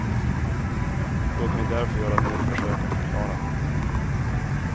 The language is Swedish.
Låt mig därför göra ett nytt försök att förklara.